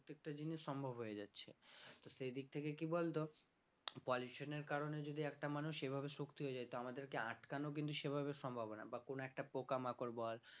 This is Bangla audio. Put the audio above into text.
প্রত্যেকটা জিনিস সম্ভব হয়ে যাচ্ছে তো সেই দিক থেকে কি বলতো pollution এর কারণে যদি একটা মানুষ এভাবে সত্যি হয়ে যায় তো আমাদেরকে আটকানো কিন্তু সেভাবে সম্ভব হবে না বা কোন একটা পোকামাকড় বল